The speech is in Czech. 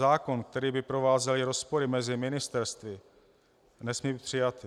Zákon, který by provázely rozpory mezi ministerstvy, nesmí být přijat.